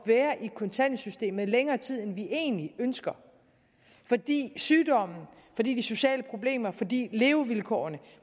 være i kontanthjælpssystemet i længere tid end vi egentlig ønsker fordi sygdommen fordi de sociale problemer fordi levevilkårene